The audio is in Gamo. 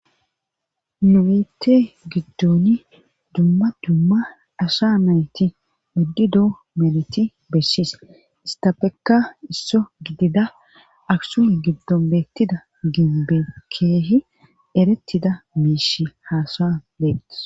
Nuwite giddoni dumma dumma asha nayti buddi doo meliti bessis istafekka isso gidida aksuy giddon bettida ginbekkeehi erettida miish haasa beettis.